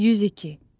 102.